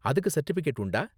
அதுக்கு சர்டிபிகேட் உண்டா?